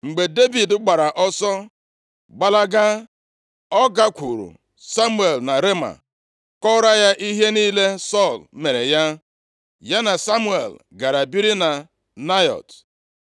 Mgbe Devid gbara ọsọ gbalaga, ọ gakwuru Samuel na Rema, kọrọ ya ihe niile Sọl mere ya. Ya na Samuel gara biri na Naịọt.